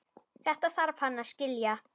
Þetta þarf hann að skilja.